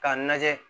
K'a lajɛ